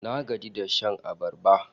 Na gaji da shan abarba